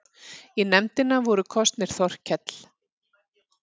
Í nefndina voru kosnir Þorkell